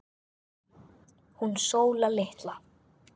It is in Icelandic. Hún Sóla litla?